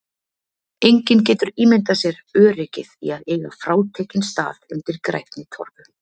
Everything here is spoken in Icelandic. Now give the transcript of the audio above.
Enginn getur ímyndað sér öryggið í að eiga frátekinn stað undir grænni torfu.